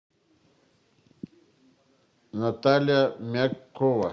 наталья мягкова